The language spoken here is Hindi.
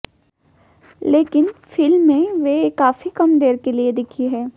लेकिन फिल्म में वे काफी कम देर के लिए दिखीं हैं